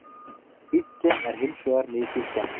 Bíllinn er hins vegar mikið skemmdur